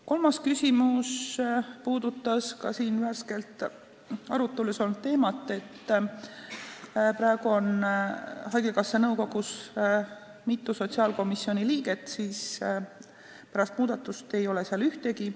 Kolmas küsimus puudutas ka siin värskelt arutelu all olnud teemat, et kui praegu on haigekassa nõukogus mitu sotsiaalkomisjoni liiget, siis pärast muudatust ei ole seal neist ühtegi.